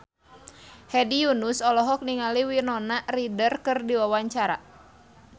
Hedi Yunus olohok ningali Winona Ryder keur diwawancara